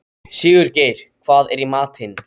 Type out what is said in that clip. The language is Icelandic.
Sigurgeir, hvað er í matinn?